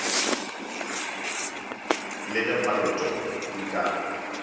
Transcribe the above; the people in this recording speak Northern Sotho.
le ge paloto e ka